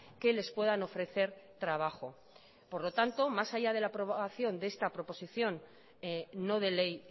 que les puedan ofrecer trabajo por lo tanto más allá de la aprobación de esta proposición no de ley